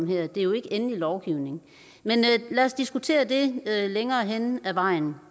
det er jo ikke endelig lovgivning men lad os diskutere det hen ad vejen